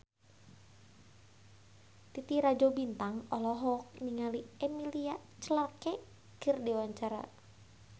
Titi Rajo Bintang olohok ningali Emilia Clarke keur diwawancara